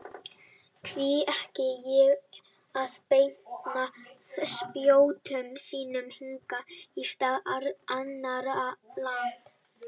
Hví ekki að beina spjótum sínum hingað í stað annarra landa?